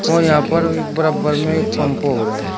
और यहां पर एक बराबर में एक पंप और है।